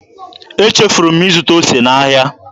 Echefuru m ịzụta ose n'ahịa.